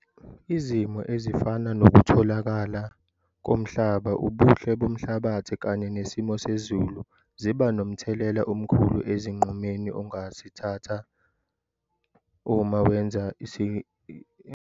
Izimo ezifana nokutholakala komhlaba, ubuhle bomhlabathi kanye nesimo sezulu ziba nomthelela omkhulu esinqumeni ongasithatha uma wenza isinqumo ngezilimo ongazitshala.